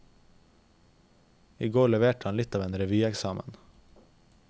I går leverte han litt av en revyeksamen.